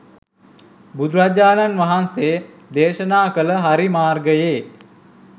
බුදුරජාණන් වහන්සේ දේශනා කළ හරි මාර්ගයේ